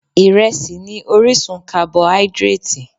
Ìrẹsì ni orísun carboidratì.